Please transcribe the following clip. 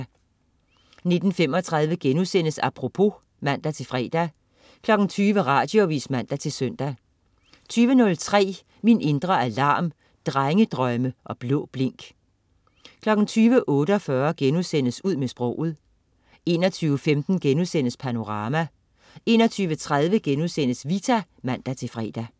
19.35 Apropos* (man-fre) 20.00 Radioavis (man-søn) 20.03 Min indre alarm. Drengedrømme og blå blink 20.48 Ud med sproget* 21.15 Panorama* 21.30 Vita* (man-fre)